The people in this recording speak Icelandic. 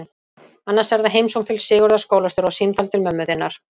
Annars er það heimsókn til Sigurðar skólastjóra og símtal til mömmu þinnar.